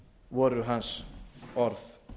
voru hans orð